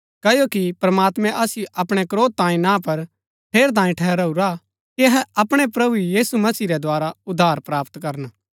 क्ओकि प्रमात्मैं असिओ अपणै क्रोध तांयें ना पर ठेरैतांये ठहराऊरा कि अहै अपणै प्रभु यीशु मसीह रै द्धारा उद्धार प्राप्त करन